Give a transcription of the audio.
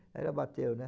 Aí ela bateu, né?